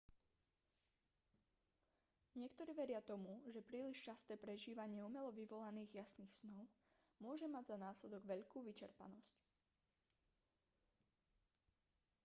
niektorí veria tomu že príliš časté prežívanie umelo vyvolaných jasných snov môže mať za následok veľkú vyčerpanosť